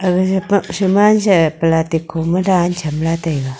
aga sapak saman se palasti kho ma dan chamla taiga.